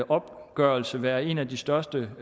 opgørelse være en af de største